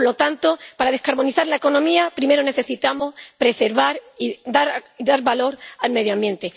Por lo tanto, para descarbonizar la economía, primero necesitamos preservar y dar valor al medio ambiente.